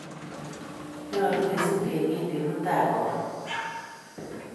Nyalu kesip keng'etye mutai karon